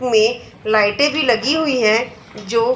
में लाइटे भी लगी हुई है जो--